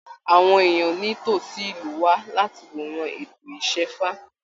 Àwọn èèyàn ní tosí ìlú wá láti wòran ètò isẹ́fá.